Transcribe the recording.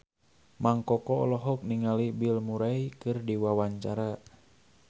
Mang Koko olohok ningali Bill Murray keur diwawancara